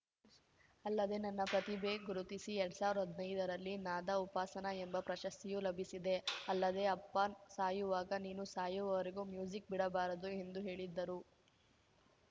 ಅಲ್ಲದೆ ನನ್ನ ಪ್ರತಿಭೆ ಗುರುತಿಸಿ ಎರಡ್ ಸಾವಿರ್ದಾ ಹದ್ನೈದರಲ್ಲಿ ನಾದ ಉಪಾಸನ ಎಂಬ ಪ್ರಶಸ್ತಿಯೂ ಲಭಿಸಿದೆ ಅಲ್ಲದೆ ಅಪ್ಪ ಸಾಯುವಾಗ ನೀನು ಸಾಯುವವರೆಗೂ ಮ್ಯೂಸಿಕ್‌ ಬಿಡಬಾರದು ಎಂದು ಹೇಳಿದ್ದರು